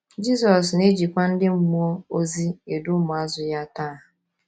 Jizọs na - ejikwa ndị mmụọ ozi edu ụmụazụ ya taa.